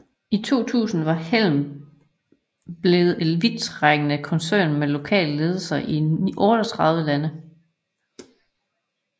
I 2000 var Hempel blevet en vidtrækkende koncern med lokale ledelser i 38 lande